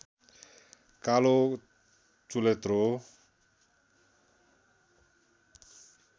कालो चुलेत्रो